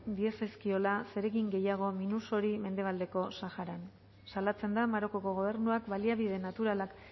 diezazkiola zeregin gehiago minusori mendebaldeko saharan salatzen da marokoko gobernuak baliabide naturalak